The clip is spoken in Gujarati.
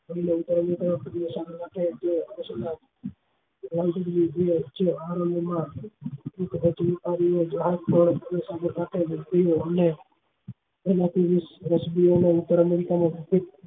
હા ઉત્તર america ના પ્રસિદ્ધ